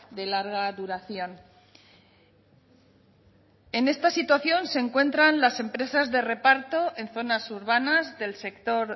de larga duración en esta situación se encuentran las empresas de reparto en zonas urbanas del sector